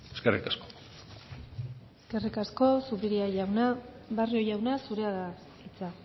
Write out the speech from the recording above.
eskerrik asko eskerrik asko zupiria jauna barrio jauna zurea da hitza